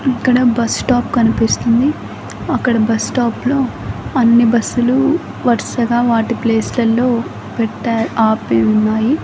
అక్కడ bus stop కనిపిస్తుంది అక్కడ బస్ స్టాప్ లో అన్ని బస్ లు వరుసగా వాటి ప్లేస్ లల్లో పెట్టారు ఆపి ఉన్నాయి.